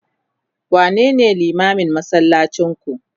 wane ne limamin masallacin ku?